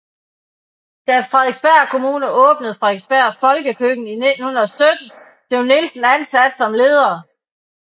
Da Frederiksberg Kommune åbnede Frederiksberg Folkekøkken i 1917 blev Nielsen ansat som leder